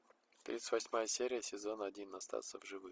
тридцать восьмая серия сезон один остаться в живых